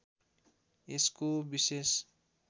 यसको विशेष